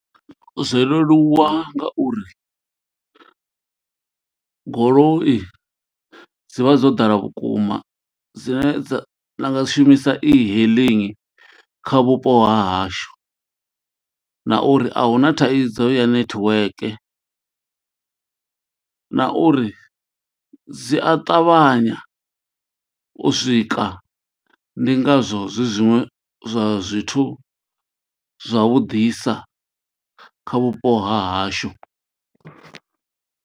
Zwo leluwa ngauri goloi dzi vha dzo ḓala vhukuma dzine dza na nga shumisa e-hailing kha vhupo ha hashu na uri ahuna thaidzo ya network na uri dzi a ṱavhanya u swika ndi ngazwo zwi zwiṅwe zwa zwithu zwavhuḓisa kha vhupo ha hashu.